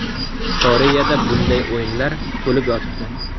Koreyada bunday o‘yinlar to‘lib yotibdi.